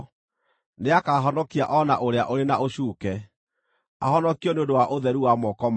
Nĩakahonokia o na ũrĩa ũrĩ na ũcuuke, ahonokio nĩ ũndũ wa ũtheru wa moko maku.”